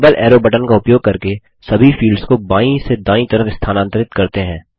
double arrow button का उपयोग करके सभी फील्ड्स को बायीं से दायीं तरफ स्थानांतरित करते हैं